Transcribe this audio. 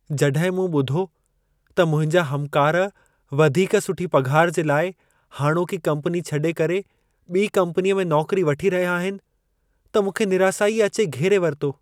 जॾहिं मूं ॿुधो त मुंहिंजा हमकार वधीक सुठी पघार जे लाइ हाणोकी कम्पनी छॾे करे, ॿी कम्पनीअ में नौकरी वठी रहिया आहिनि, त मूंखे निरासाई अचे घेरे वरितो।